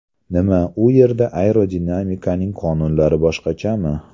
Nima, u yerda aerodinamikaning qonunlari boshqachami?